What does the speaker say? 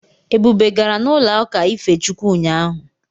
Ebube gara n'ụlọụka ife Chukwu ụnyaahụ.